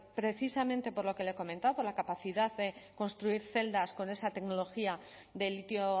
precisamente por lo que le he comentado por la capacidad de construir celdas con esa tecnología de litio